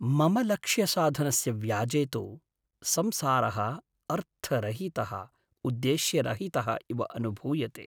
मम लक्ष्यसाधनस्य व्याजे तु संसारः अर्थरहितः उद्देश्यरहितः इव अनुभूयते।